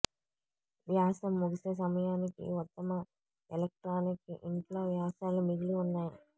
వ్యాసం ముగిసే సమయానికి ఉత్తమ ఎలక్ట్రానిక్ ఇంట్లో వ్యాసాలు మిగిలి ఉన్నాయి